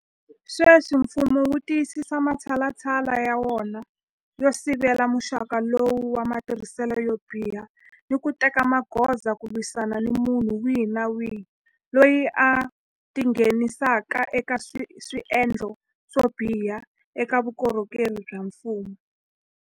Sweswi mfumo wu tiyisisa matshalatshala ya wona yo sivela muxaka lowu wa matirhiselo yo biha ni ku teka magoza ku lwisana ni munhu wihi ni wihi loyi a tingheni saka eka swendlo swo biha eka vukorhokeri bya mfumo.